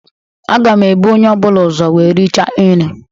Agam ebụ onye ọbụla ụzọ wee rịchaa nri.